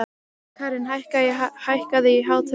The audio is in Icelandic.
Karin, hækkaðu í hátalaranum.